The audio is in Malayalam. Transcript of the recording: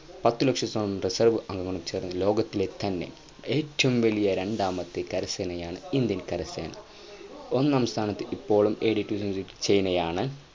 പത്തു ലക്ഷത്തോളം ദശാ അംഗങ്ങളും ചേർന്ന് ലോകത്തിലെ തന്നെ ഏറ്റവും വലിയ രണ്ടാമത്തെ കര സേനയാണ് Indian കര സേന ഒന്നാം സ്ഥാനം ഇപ്പോഴും നേടിയിരിക്കുന്നത് ചൈനയാണ്